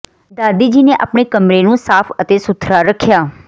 ਦਾਦੀ ਜੀ ਨੇ ਆਪਣੇ ਕਮਰੇ ਨੂੰ ਸਾਫ਼ ਅਤੇ ਸੁਥਰਾ ਰੱਖਿਆ